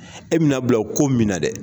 E bɛna bila o ko mina dɛ.